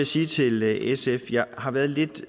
sige til sf at jeg har været lidt